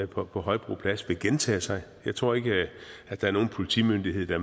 på på højbro plads vil gentage sig jeg tror ikke at der er nogen politimyndighed der